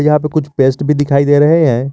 यहां पे कुछ पेस्ट भी दिखाई दे रहे हैं।